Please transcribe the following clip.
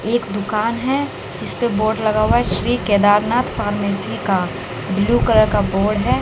एक दुकान है जिसपे बोर्ड लगा हुआ है श्री केदारनाथ फार्मेसी का ब्लू कलर का बोर्ड है।